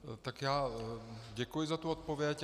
Tak já děkuji za tu odpověď.